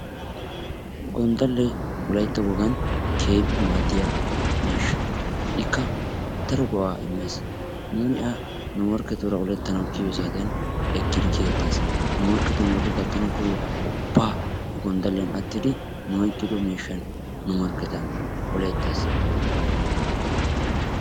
Gonddalee wolaytta wogan keehippe maaddiya miishsha. Ikka daro go"a immees. Nuuni a nu morkketuura oletanawu kiyiyyo saatiyan ekkidi kiyyetees. Nu morkketi nu bolla gattanawu koyyiyo qoho ubba he gonddaliyaan attidi nu oyqqido miishshan nu morkketta oletees.